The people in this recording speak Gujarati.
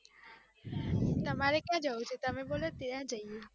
તમારે ક્યાં જવું છે? તમે બોલો ત્યાં જઈએ